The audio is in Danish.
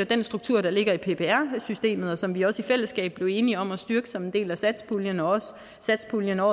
at den struktur der ligger i ppr systemet og som vi også i fællesskab blev enige om at styrke som en del af satspuljen også i satspuljen to